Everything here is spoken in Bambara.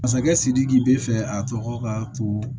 Masakɛ sidiki be fɛ a tɔgɔ k'a to